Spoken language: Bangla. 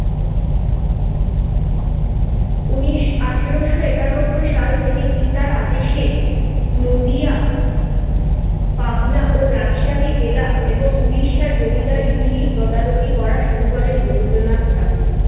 উনিশ আঠারোশো একানব্বই সাল থেকে পিতার আদেশে নদীয়া পাবনা ও রাজশাহী জেলা এবং উড়িষ্যার জমিদারিগুলি তদারকি করা শুরু করেন রবীন্দ্রনাথ ঠাকুর